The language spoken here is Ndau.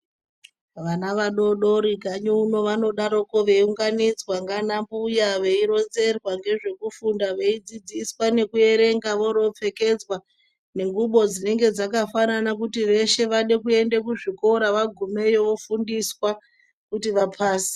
Vana vadodori kanyi uno vanodaroko veyiunganidzwa nganambuya vaironzerwa ngezvekufunda, veyidzidziswa ngekuyerenga, voropfekedzwa ngengubo dzinenge dzakafanana kuti veshe vade kuenda kuzvikora, vagumeyo vofundiswa kuti vapase.